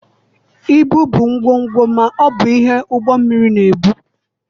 Ibu bụ ngwongwo ma ọ bụ ihe ụgbọ mmiri na-ebu.